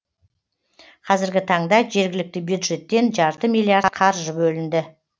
қазіргі таңда жергілікті бюджеттен жарты миллиард қаржы бөлінді